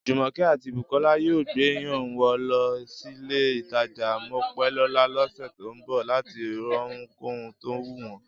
Jùmọ̀kẹ́ àti Bùkọ́lá yóò gbéyàá wọn lọ sÍlé-ìtajà Mopélọ́lá lọ́sẹ̀ tó ń bọ̀ láti rohunkóhun tó wù wọ́n